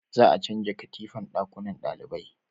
za a canja katifan dakunnan dalibai